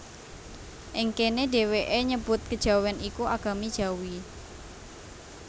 Ing kéné dhèwèké nyebut Kejawèn iku Agami Jawi